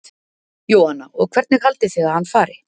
Jóhanna: Og hvernig haldið þið að hann fari?